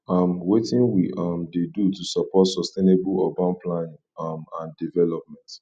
um wetin we um dey do to support sustainable urban planning um and development